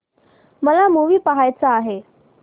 मला मूवी पहायचा आहे